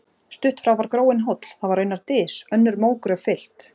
Stutt frá var gróinn hóll, það var raunar dys, önnur mógröf fyllt.